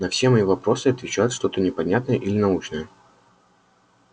на все мои вопросы отвечает что-то непонятное или научное